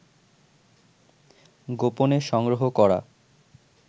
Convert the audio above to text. গোপনে সংগ্রহ করা